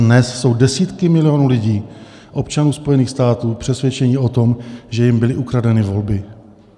Dnes jsou desítky milionů lidí, občanů Spojených států, přesvědčeny o tom, že jim byly ukradeny volby.